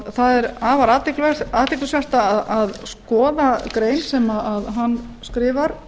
það er afar athyglisvert að skoða grein sem hann skrifar